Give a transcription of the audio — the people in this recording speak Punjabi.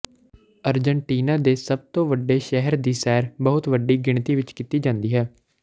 ਅਰਜਨਟੀਨਾ ਦੇ ਸਭ ਤੋਂ ਵੱਡੇ ਸ਼ਹਿਰ ਦੀ ਸੈਰ ਬਹੁਤ ਵੱਡੀ ਗਿਣਤੀ ਵਿੱਚ ਕੀਤੀ ਜਾਂਦੀ ਹੈ